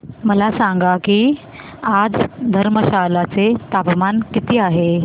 मला सांगा की आज धर्मशाला चे तापमान किती आहे